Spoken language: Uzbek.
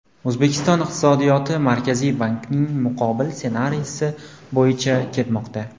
O‘zbekiston iqtisodiyoti Markaziy bankning muqobil ssenariysi bo‘yicha ketmoqda.